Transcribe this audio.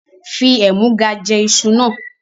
Fi ẹ̀múga jẹ́ ìṣù náà!